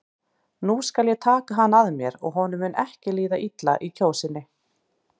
Nú skal ég taka hann að mér og honum mun ekki líða illa í Kjósinni.